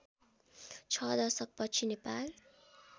६ दशकपछि नेपाल